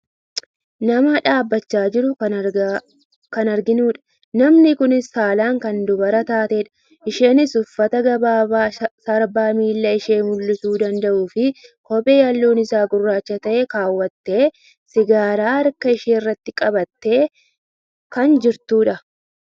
Nama dhaabbachaa jiru kan arginudha. Namni kunis saalaan kan dubara taatedha. Isheenis uffata gabaabaa sarbaa miila ishee mul'isuu danda'u fi kophee halluun isaa gurraacha ta'e kaawwattee , sigaaraa harka isheerratti qabattee kan jirtudha.